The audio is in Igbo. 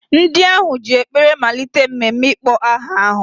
Ndị ahụ ji ekpere malite mmemme ịkpọ aha ahụ.